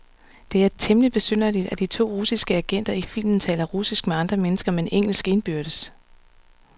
Det er temmeligt besynderligt, at de to russiske agenter i filmen taler russisk med andre mennesker, men engelsk indbyrdes.